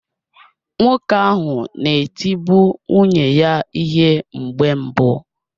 Nwoke ahụ na-etibu nwunye ya ihe mgbe mbụ